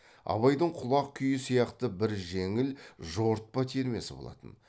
абайдың құлақ күйі сияқты бір жеңіл жорытпа термесі болатын